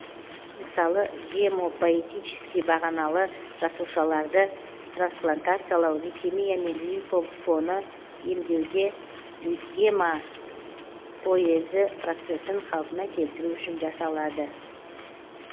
мысалы гемопоэтически бағаналы жасушаларды трансплантациялау лейкемия мен лимфо фоны емдеуде гемопоэзі процесін қалпына келтіру үшін жасалады